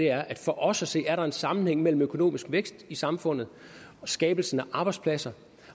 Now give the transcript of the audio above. er at for os at se er der en sammenhæng mellem økonomisk vækst i samfundet skabelsen af arbejdspladser